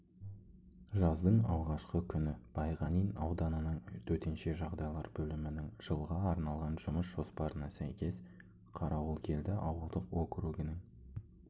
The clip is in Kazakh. жаздың алғашқы күні байғанин ауданының төтенше жағдайлар бөлімінің жылға арналған жұмыс жоспарына сәйкес қарауылкелді ауылдық округінің